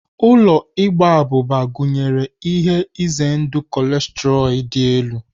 Ụlọ Igba abụba gụnyere ihe ize ndụ kolesterọ dị elu.